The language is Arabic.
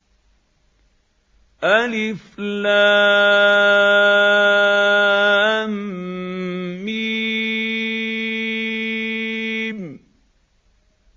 الم